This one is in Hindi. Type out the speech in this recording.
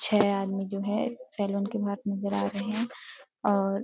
छह आदमी जो है सैलोन के बाहर नजर आ रहे हैं और --